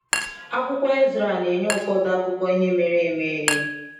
Akwụkwọ Ezera na-enye ụfọdụ akụkọ ihe mere eme.